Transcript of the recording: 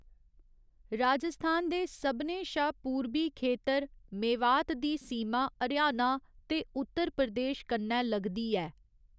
राजस्थान दे सभनें शा पूरबी खेतर मेवात दी सीमा हरियाणा ते उत्तर प्रदेश कन्नै लगदी ऐ।